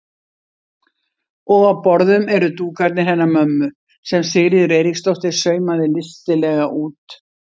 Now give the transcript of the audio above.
Og á borðum eru dúkarnir hennar mömmu sem Sigríður Eiríksdóttir saumaði listilega út.